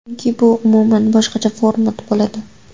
Chunki bu umuman boshqacha format bo‘ladi.